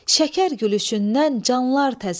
Şəkər gülüşündən canlar təzəli.